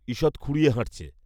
ঈষৎ খুঁড়িয়ে হাঁটছে